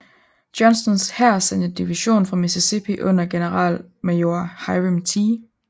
Johnstons hær sendte en division fra Mississippi under generalmajor Hiram T